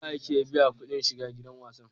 Nawa ake biya kuɗin shiga gidan wasan?